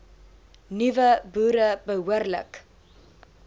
nuwe boere behoorlik